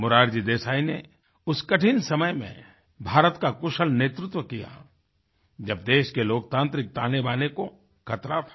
मोरारजी देसाई ने उस कठिन समय में भारत का कुशल नेतृत्व किया जब देश के लोकतान्त्रिक तानेबाने को खतरा था